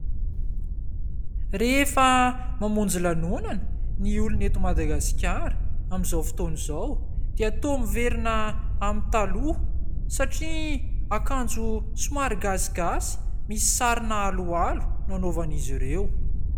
Rehefa mamonjy lanonana ny olona eto Madagasikara ny olona amin'izao fotoana izao dia toa miverina amin'ny taloha satria akanjo somary gasigasy misy sarina alohalo no anaovan'izy ireo.